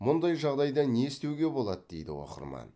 мұндай жағдайда не істеуге болады дейді оқырман